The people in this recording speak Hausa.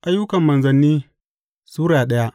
Ayyukan Manzanni Sura daya